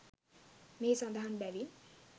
මෙහි සඳහන් බැවින්